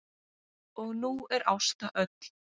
Og nú er Ásta öll.